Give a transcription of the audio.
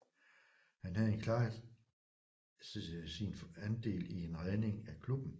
Han havde klart sin andel i en redning af klubben